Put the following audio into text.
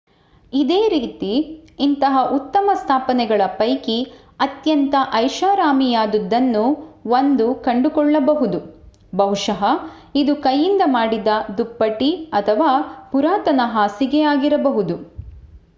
ಇದೇ ರೀತಿ ಇಂತಹ ಉತ್ತಮ ಸ್ಥಾಪನೆಗಳ ಪೈಕಿ ಅತ್ಯಂತ ಐಷಾರಾಮಿಯಾದುದನ್ನು1 ಕಂಡುಕೊಲ್ಳಬಹುದು ಬಹುಶಃ ಇದು ಕೈಯಿಂದ ಮಾಡಿದ ದುಪ್ಪಟಿ ಅಥವಾ ಪುರಾತನ ಹಾಸಿಗೆ ಆಗಿರಬಹುದು